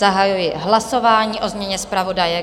Zahajuji hlasování o změně zpravodaje.